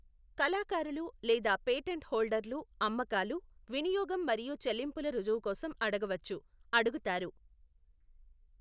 కళాకారులు లేదా పేటెంట్ హోల్డర్లు అమ్మకాలు, వినియోగం మరియు చెల్లింపుల రుజువు కోసం అడగవచ్చు, అడుగుతారు.